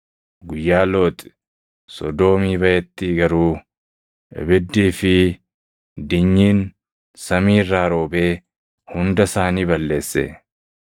Guyyaa Looxi Sodoomii baʼetti garuu ibiddii fi dinyiin samii irraa roobee hunda isaanii balleesse.